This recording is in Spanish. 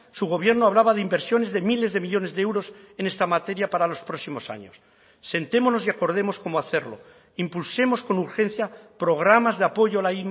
su gobierno hablaba de inversiones de miles de millónes de euros en esta materia para los próximos años sentémonos y acordemos cómo hacerlo impulsemos con urgencia programas de apoyo a la